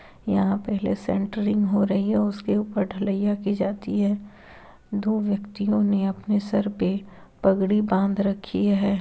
यहाँ पे सेटरिंग हो रही है। उसके ऊपर ढलाइया की जाती है। दो व्यक्तिओ ने अपने सर पे पघड़ी बांध रखी है।